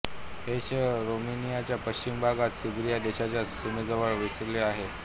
हे शहर रोमेनियाच्या पश्चिम भागात सर्बिया देशाच्या सीमेजवळ वसले आहे